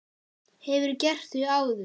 Hefurðu gert það áður?